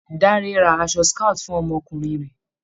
Dáre ra aṣọ scout fún ọmọkùnrin rẹ̀.